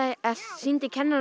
sýndi kennarinn